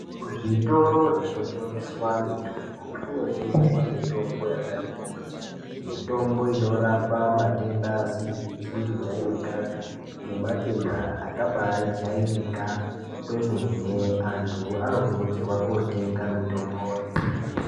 Kuzvitoro zvino tengeswa mitombo kuno tengeswa mitombo yakati kuti mitombo ino rapa matenda asizi kujairikapi nema tenda akabai jairikapi kwemene antu ano kurudzirwa kotenga mitomboyo.